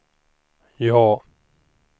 ja